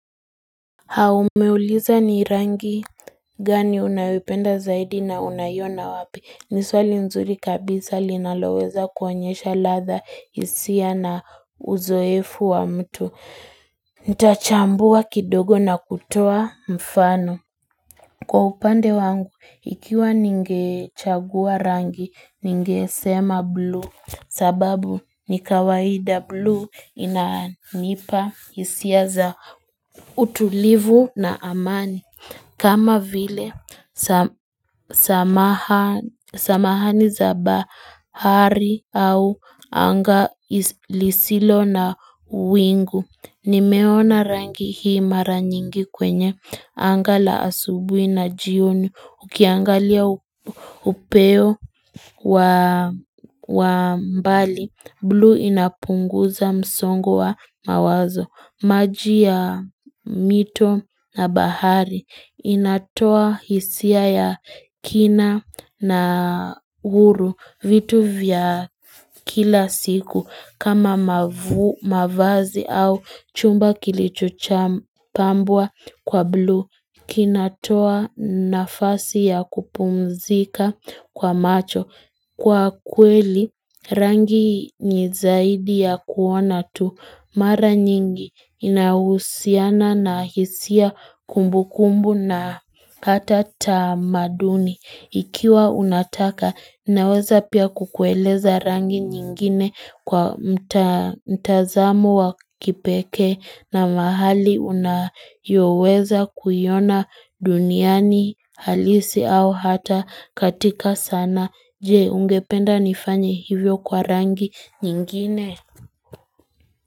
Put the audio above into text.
Umeuliza ni rangi gani unayoipenda zaidi na unaiona wapi ni swali nzuri kabisa linaloweza kuonyesha latha hisia na uzoefu wa mtu Ntachambua kidogo na kutoa mfano Kwa upande wangu, ikiwa ningechagua rangi, ningesema blue sababu nikawaida blue inanipa hisia za utulivu na amani. Kama vile samahani za bahari au anga lisilo na wingu Nimeona rangi hii mara nyingi kwenye anga la asubuhi na jioni Ukiangalia upeo wa mbali Blue inapunguza msongo wa mawazo maji ya mito na bahari inatoa hisia ya kina na uru vitu vya kila siku kama mavazi au chumba kilichocham pambwa kwa blue. Kinatoa nafasi ya kupumzika kwa macho. Kwa kweli, rangi ni zaidi ya kuona tu mara nyingi inahusiana na hisia kumbu kumbu na hata tamaduni. Ikiwa unataka, ninaweza pia kukueleza rangi nyingine kwa mtazamo wa kipekee na mahali unayoweza kuiona duniani halisi au hata katika sana. Jee, ungependa nifanye hivyo kwa rangi nyingine.